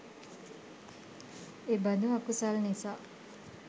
එබඳු අකුසල් නිසා